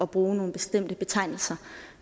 bruge nogle bestemte betegnelser